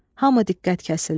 Hamı diqqət kəsildi.